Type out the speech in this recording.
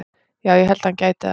Já ég held að hann gæti það.